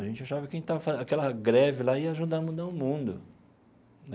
A gente achava que aquela greve lá ia ajudar a mudar o mundo.